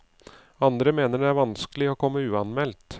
Andre mener det er vanskelig å komme uanmeldt.